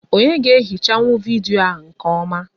Onyé ga-ehichanwu vidiyo nkè ọma?